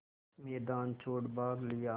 मैदान छोड़ भाग लिया